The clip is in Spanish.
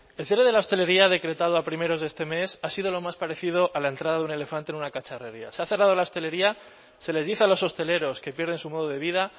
el cierre de la hostelería decretado a primeros de este mes ha sido lo más parecido a la entrada de un elefante en una cacharrería se ha cerrado la hostelería se les dice a los hosteleros que pierden su modo de vida